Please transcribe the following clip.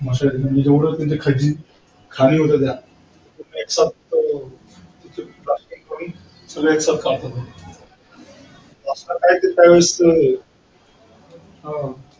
सगळे एकसाथ कळतो तो